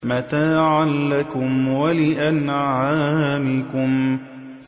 مَتَاعًا لَّكُمْ وَلِأَنْعَامِكُمْ